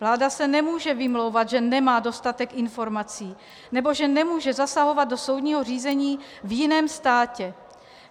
Vláda se nemůže vymlouvat, že nemá dostatek informací nebo že nemůže zasahovat do soudního řízení v jiném státě.